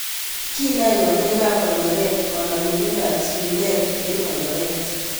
Kiinaai kandoikaab korkoreet kanomindetab chilileet en korkoreet